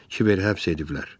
Kiveri həbs ediblər.